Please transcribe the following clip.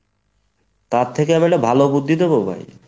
তার থেকে আমি একটা ভালো বুদ্ধি দেবো ভাই?